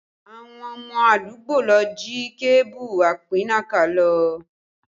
Àwọn ọmọ àdúgbò ló jí kébù apínnáká lọ